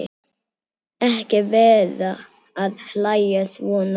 Ekki vera að hlæja svona.